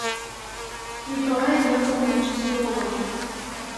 николая яковлевича серова